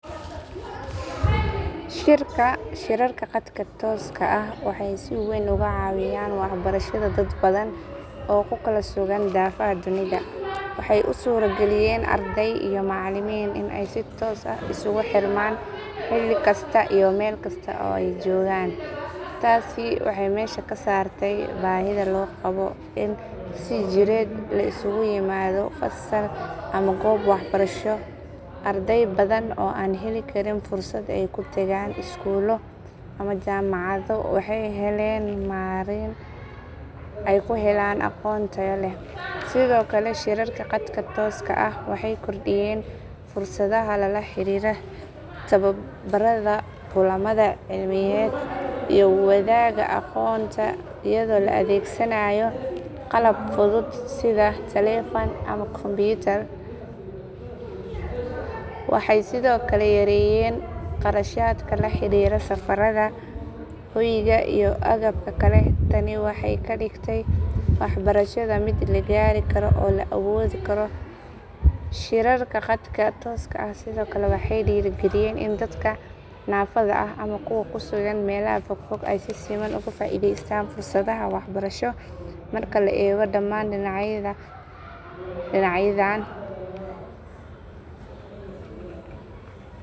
Shirarka khadka tooska ah waxay si weyn uga caawiyeen waxbarashada dad badan oo ku kala sugan daafaha dunida. Waxay u suurageliyeen arday iyo macalimiin in ay si toos ah isugu xirmaan xilli kasta iyo meel kasta oo ay joogaan. Taasi waxay meesha ka saartay baahida loo qabo in si jireed la isugu yimaado fasal ama goob waxbarasho. Arday badan oo aan heli karin fursad ay ku tagaan iskuulo ama jaamacado waxay heleen marin ay ku helaan aqoon tayo leh. Sidoo kale, shirarka khadka tooska ah waxay kordhiyeen fursadaha la xiriira tababarada, kulamada cilmiyeed iyo wadaagga aqoonta iyadoo la adeegsanayo qalab fudud sida taleefan ama kombiyuutar. Waxay sidoo kale yareeyeen kharashaadka la xiriira safarada, hoyga iyo agabka kale. Tani waxay ka dhigtay waxbarashada mid la gaari karo oo la awoodi karo. Shirarka khadka tooska ah sidoo kale waxay dhiirrigeliyeen in dadka naafada ah ama kuwa ku sugan meelaha fogfog ay si siman uga faa’iidaystaan fursadaha waxbarasho. Marka la eego dhammaan dhinacyadan, shirarka khadka tooska ah waxay kaalin muhiim ah ka qaateen kor u qaadista waxbarashada iyo in la gaaro dad badan oo hore u heli waayay adeegyo la mid ah.